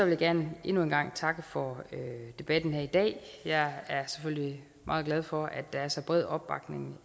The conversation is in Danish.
jeg gerne endnu en gang takke for debatten her i dag jeg er selvfølgelig meget glad for at der er så bred opbakning